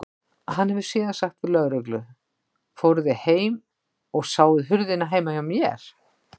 Hann hefði síðan sagt við lögreglu: Fóruð þið heim og sáuð hurðina heima hjá mér?